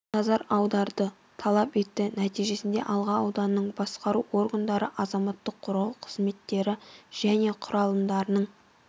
назар аударуды талап етті нәтижесінде алға ауданының басқару органдары азаматтық қорғау қызметтері және құралымдарының